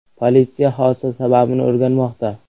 Politsiya hodisa sababini o‘rganmoqda.